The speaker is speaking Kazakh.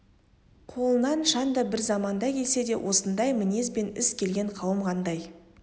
қолынан шанда бір заманда келсе де осындай мінез бен іс келген қауым қандай